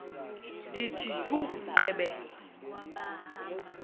ndithi tjhu gqebe